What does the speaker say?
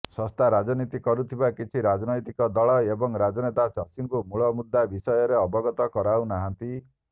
ଶସ୍ତା ରାଜନୀତି କରୁଥିବା କିଛି ରାଜନୈତିକ ଦଳ ଏବଂ ରାଜନେତା ଚାଷୀଙ୍କୁ ମୂଳ ମୁଦ୍ଦା ବିଷୟରେ ଅବଗତ କରାଉନାହାନ୍ତି